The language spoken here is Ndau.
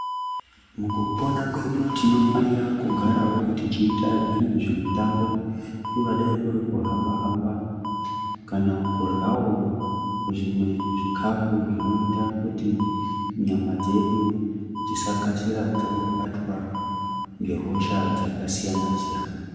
Mukupona kwedu tinofanira kugarawo techiita zvimwe zvimitambo kungadai kuri kuhamba-hamba ,kana kuryawo zvimwe zvikafu zvinoita kuti nyama dzedu dzisakasira dzangobatwa nehosha dzakasiyana-siyana.